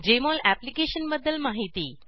Jmol अप्लिकेशनबद्दल माहिती